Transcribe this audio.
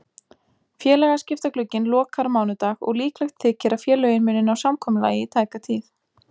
Félagaskiptaglugginn lokar á mánudag og líklegt þykir að félögin muni ná samkomulagi í tæka tíð.